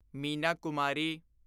Meena Kumari